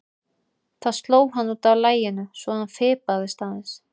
Það sló hann út af laginu svo að honum fipaðist aðeins.